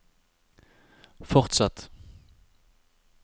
fortsett